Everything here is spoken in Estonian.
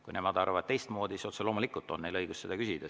Kui nemad arvavad teistmoodi, siis otse loomulikult on neil õigus küsida.